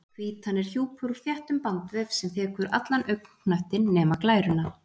Hvítan er hjúpur úr þéttum bandvef sem þekur allan augnknöttinn nema glæruna.